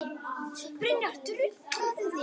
Leggið spjót í bleyti.